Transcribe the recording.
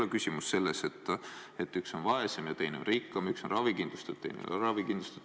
Ehk küsimus ei ole selles, et üks on vaesem ja teine on rikkam või üks on ravikindlustatud, aga teine ei ole ravikindlustatud.